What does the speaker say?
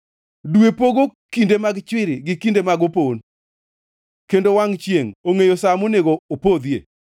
Dwe pogo kinde mag chwiri gi kinde mag opon kendo wangʼ chiengʼ ongʼeyo sa monego opodhie.